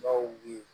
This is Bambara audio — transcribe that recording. Bawi